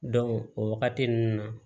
o wagati ninnu na